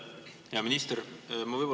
Hea minister!